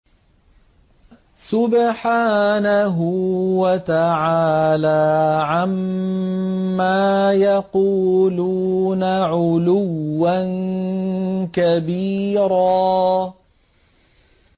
سُبْحَانَهُ وَتَعَالَىٰ عَمَّا يَقُولُونَ عُلُوًّا كَبِيرًا